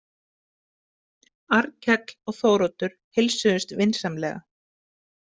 Arnkell og Þóroddur heilsuðust vinsamlega.